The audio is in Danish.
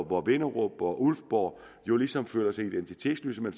hvor vinderup og ulfborg jo ligesom føler sig identitetsløse men